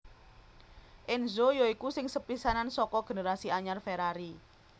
Enzo ya iku sing sepisanan saka generasi anyar Ferrari